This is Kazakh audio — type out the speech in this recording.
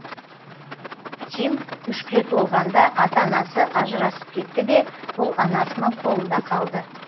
тим үшке толғанда ата анасы ажырасып кетті де бұл анасының қолында қалды